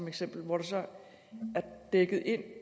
eksempel hvor det så var dækket ind